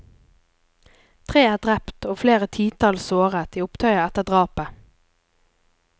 Tre er drept og flere titalls såret i opptøyer etter drapet.